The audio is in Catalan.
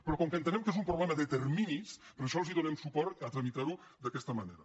però com que entenem que és un problema de terminis per això els donem suport a tramitar ho d’aquesta manera